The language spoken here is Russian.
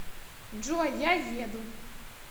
джой я еду